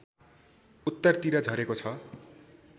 उत्तरतिर झरेको छ